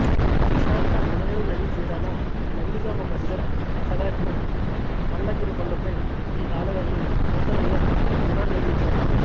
ప్రశాంత మునేరు నదీతీరాన నందిగామమధిర రహదారిలో పల్లగిరికొండపై ఈ ఆలయాన్ని నూతనంగా పునర్నిర్మించారు